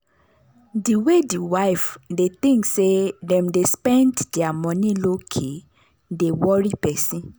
the way the wife they think say them dey spend their money lowkey dey worry person.